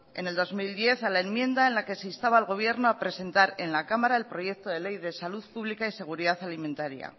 en el dos mil diez a la enmienda en la que se instaba al gobierno a presentar en la cámara el proyecto de ley de salud pública y seguridad alimentaria